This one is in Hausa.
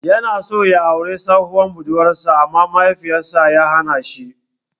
Ya so ya auri tsohuwar budurwar sa amma Mahaifin sa ya hana shi.